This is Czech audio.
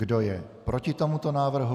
Kdo je proti tomuto návrhu?